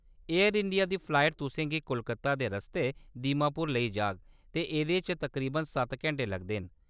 Air India दी flight तुसें गी कोलकाता दे रस्ते दीमापुर लेई जाह्‌‌ग ते एह्‌‌‌दे च तकरीबन सत्त घैंटे लगदे न।